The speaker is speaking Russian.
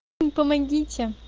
ну помогите